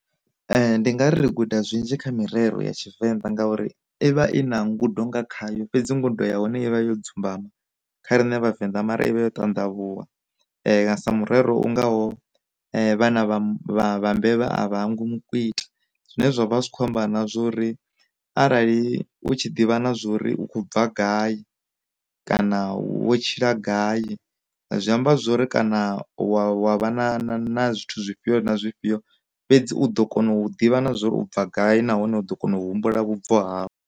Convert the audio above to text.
Ndi nga ri guda zwinzhi kha mirero ya tshivenḓa ngauri ivha i na ngudo nga khayo fhedzi ngudo ya hone ivha yo dzumbama, kha rine vhavenḓa mara ivha yo tandavhuwa, sa murero u ngaho vhana vha mbevha a vha hangwi mu kwita. Zwine zwa vha zwi kho amba na zwori arali u tshi ḓivha na zwa uri u kho bva gai, kana wo tshila gai, zwi amba zwori kana wa vha na zwithu zwifhio na zwifhio, fhedzi u ḓo kona u ḓivha na zwa uri u bva gai nahone u ḓo kona u humbula vhubvo ha u.